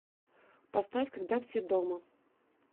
поставь когда все дома